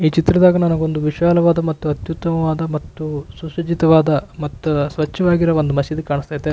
ಈ ಚಿತ್ರದಾಗ ನನಗೆ ಒಂದು ವಿಶಾಲವಾದ ಮತ್ತು ಅತ್ಯುತ್ತಮವಾದ ಮತ್ತು ಸುಸಜ್ಜಿತವಾದ ಮತ್ತೆ ಸ್ವಚ್ಛವಾಗಿರುವ ಒಂದು ಮಸೀದಿ ಕಾಣಿಸ್ತಾ ಐತೆ.